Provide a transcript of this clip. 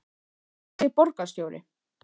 En hvað segir borgarstjóri?